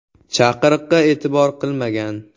chaqiriqqa e’tibor qilmagan.